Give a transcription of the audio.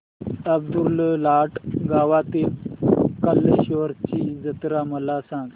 अब्दुललाट गावातील कलेश्वराची जत्रा मला सांग